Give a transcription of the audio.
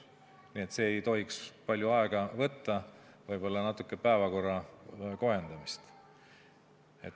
Nii et see ei tohiks palju aega võtta, võib-olla tuleb natuke päevakorda kohendada.